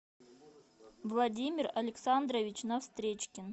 владимир александрович навстречкин